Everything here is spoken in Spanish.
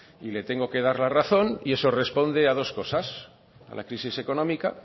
y le tengo que dar la razón y eso responde a dos cosas a la crisis económica